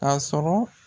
Ka sɔrɔ